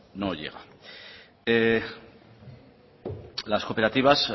no llega las cooperativas